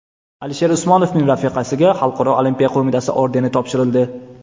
Alisher Usmonovning rafiqasiga Xalqaro olimpiya qo‘mitasi ordeni topshirildi.